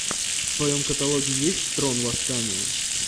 в твоем каталоге есть трон восстания